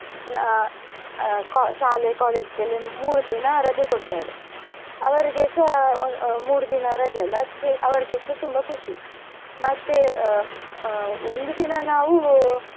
ಅಹ್ ಶಾಲೆ college ಗೆಲ್ಲ ಮೂರು ದಿನ ರಜೆ ಕೊಡ್ತಾರೆ ಅವರಿಗೆಸ ಅಹ್ ಅಹ್ ಮೂರು ದಿನ ರಜೆ ಅಲ್ಲಾ ಅದ್ಕೆ ಅವರಿಗೆಸ ತುಂಬ ಖುಷಿ ಮತ್ತೆ ಅಹ್ ಒಂದು ದಿನ ನಾವು.